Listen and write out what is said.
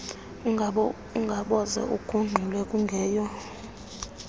ungabokuze ugungxule kungeyo